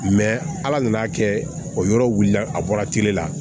ala nana kɛ o yɔrɔ wulila a bɔra la